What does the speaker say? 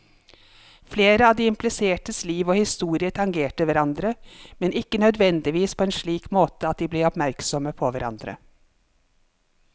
Flere av de implisertes liv og historier tangerer hverandre, men ikke nødvendigvis på en slik måte at de blir oppmerksomme på hverandre.